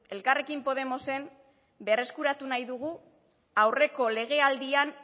elkarrekin podemosen berreskuratu nahi dugu aurreko legealdian